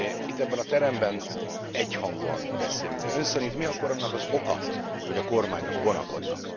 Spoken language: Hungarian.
Itt, ebben a teremben egyhangúan beszélünk, de Ön szerint mi akkor annak az oka, hogy a kormányok vonakodnak?